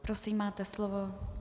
Prosím, máte slovo.